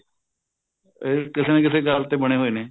ਇਹ ਕਿਸੇ ਨਾ ਕਿਸੇ ਗੱਲ ਤੇ ਬਣੇ ਹੋਏ ਨੇ